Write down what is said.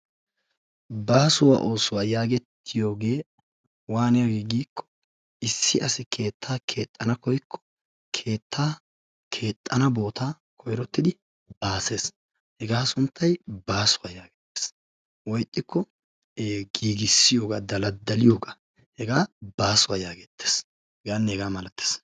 Baasuwa oosuwa yaagettiyogee waaniyagee giikko issi keettaa keexxana koykko keettaa keexxana bootaa koyrottidi baasees. Hegaa sunttay baasuwa yaagettees woy ixxikko ee giigissiyogaa, daladdaliyogaa hegaa baasuwa yaageettees. Hegaanne hegaa malatees.